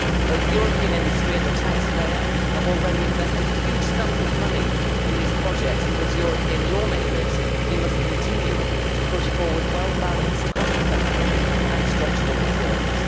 Both European industry and the taxpayer have already invested huge sums of money in these projects and, as European lawmakers, we must continue to push forward well balanced, cost effective and structural reforms.